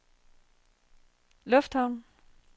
lufthavnen